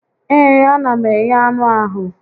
Ee, a na m eghe anụ ahụ